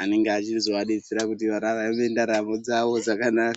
Anenge achizovadetsera kuti vararame ndaramo dzavo dzakanaka.